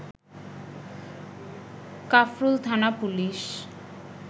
কাফরুল থানা পুলিশ